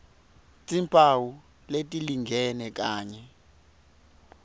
timphawu letilingene kanye